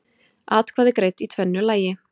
Atkvæði greidd í tvennu lagi